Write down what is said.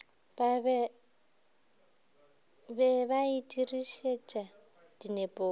be ba e dirišetše dinepong